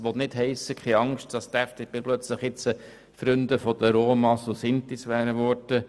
Keine Angst, dies heisst nicht, dass die FDP plötzlich zur Freundin der Romas und Sintis geworden wäre.